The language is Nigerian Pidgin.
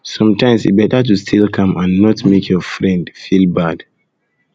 sometimes e better to stay calm and not not make your um friend feel um bad